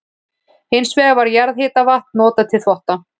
Hins vegar var jarðhitavatn notað til þvotta.